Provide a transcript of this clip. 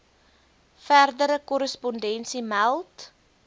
verdere korrespondensie meld